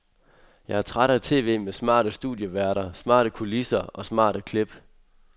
Jeg er træt af tv med smarte studieværter, smarte kulisser og smarte klip.